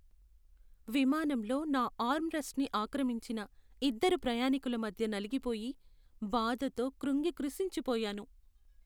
విమానంలో నా ఆర్మ్ రెస్ట్ని ఆక్రమించిన ఇద్దరు ప్రయాణీకుల మధ్య నలిగిపోయి, బాధతో క్రుంగి కృశించిపోయాను.